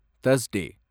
Thursday